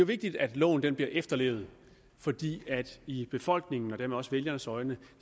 vigtigt at loven bliver efterlevet fordi det i befolkningens og dermed også vælgernes øjne